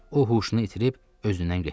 O huşunu itirib özündən getdi.